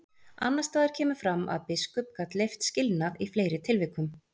Annars staðar kemur fram að biskup gat leyft skilnað í fleiri tilvikum.